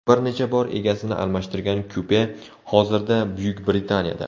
Bir necha bor egasini almashtirgan kupe hozirda Buyuk Britaniyada.